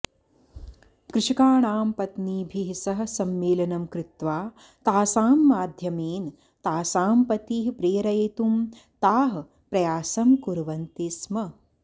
कृषकाणां पत्नीभिः सह सम्मेलनं कृत्वा तासां माध्यमेन तासां पतीः प्रेरयितुं ताः प्रयासं कुर्वन्ति स्म